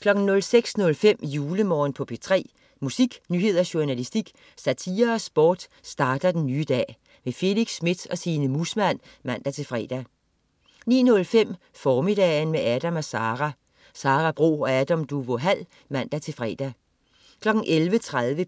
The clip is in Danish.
06.05 JuleMorgen på P3. Musik, nyheder, journalistik, satire og sport starter den nye dag. Felix Smith og Signe Muusmann (man-fre) 09.05 Formiddagen med Adam & Sara. Sara Bro og Adam Duvå Hall (man-fre) 11.30